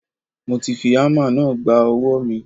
Mo fi ámà náà gba ọwọ́ mi.